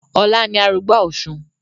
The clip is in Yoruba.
Ọlá ni arugbá òsun